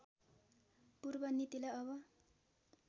पूर्व नीतिलाई अब